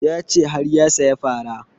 Ya ce har ya saya fara